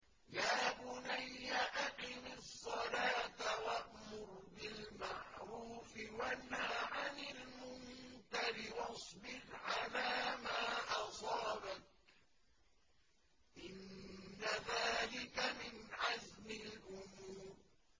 يَا بُنَيَّ أَقِمِ الصَّلَاةَ وَأْمُرْ بِالْمَعْرُوفِ وَانْهَ عَنِ الْمُنكَرِ وَاصْبِرْ عَلَىٰ مَا أَصَابَكَ ۖ إِنَّ ذَٰلِكَ مِنْ عَزْمِ الْأُمُورِ